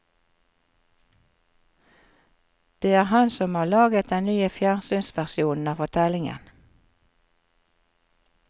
Det er han som har laget den nye fjernsynsversjonen av fortellingen.